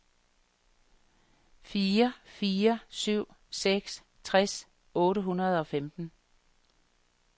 fire fire syv seks tres otte hundrede og femten